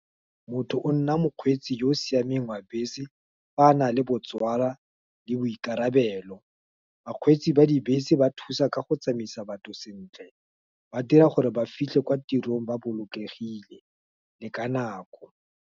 Motho o nna mokgweetsi yo o siameng wa bese, fa a nale botswala, le boikarabelo, bakgweetsi ba dibese ba thusa ka go tsamaisa batho sentle, ba dira gore ba fitlhe kwa tirong, ba bolokegile, le ka nako.